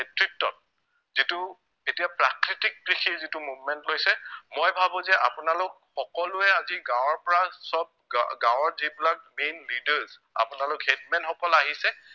যিটো এতিয়া প্ৰাকৃতিক কৃষিৰ যিটো movement লৈছে মই ভাৱো যে আপোনালোক সকলোৱে আজি গাঁৱৰ পৰা সৱ গা গাঁৱৰ যিবিলাক main leaders আপোনালোক headman সকল আহিছে